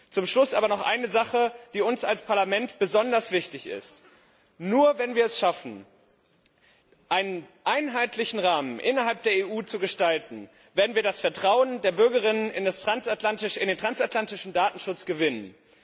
Zum Schluss aber noch eine Sache, die uns als Parlament besonders wichtig ist Nur wenn wir es schaffen, einen einheitlichen Rahmen innerhalb der EU zu gestalten, werden wir das Vertrauen der Bürgerinnen und Bürger in den transatlantischen Datenschutz gewinnen.